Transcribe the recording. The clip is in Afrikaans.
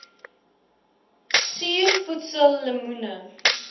suur voedsel lemoene